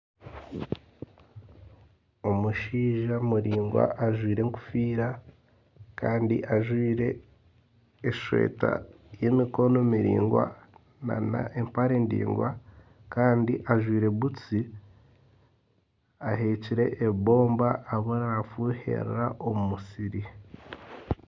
Omushaija muraingwa ajwaire enkofiira Kandi ajwaire esweeta y'emikono miraingwa nana empare ndaingwa Kandi ajwaire butusi aheekire ebomba ariyo nafuhirira omu musiri